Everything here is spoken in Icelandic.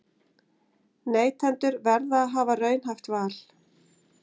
Neytendur verða að hafa raunhæft val